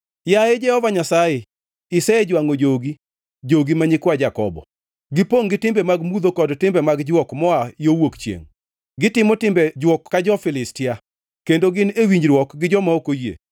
Yaye Jehova Nyasaye, isejwangʼo jogi, jogi ma nyikwa Jakobo. Gipongʼ gi timbe mag mudho kod timbe mag jwok moa yo wuok chiengʼ, gitimo timbe jwok ka jo-Filistia, kendo gin e winjruok gi joma ok oyie.